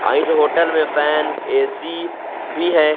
आ इस होटल में fan AC भी है।